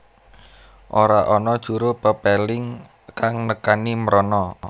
Ora ana juru pepéling kang nekani mrono